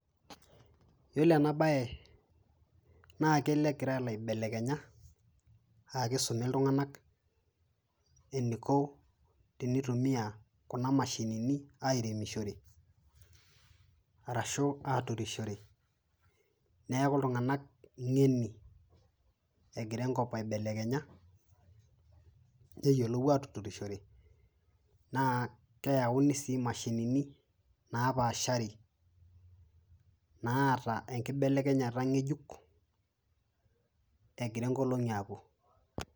Yiolo ena baye naa kelo egira alo aibelekenya, akisumi iltung'ana eniko tenitumia kuna mashinini airemishore arashu aturushore neeku iltung'ana ng'eni egira enkop aibelekenya, neyiolou aturushore naa keyauni sii mashinini naapashari, naata enkibelekenyata ng'ejuk egira nkolong'i apuo.